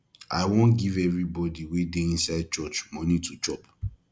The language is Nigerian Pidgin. i wan give everybody wey dey inside church money to chop